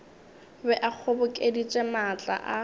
be a kgobokeditše maatla a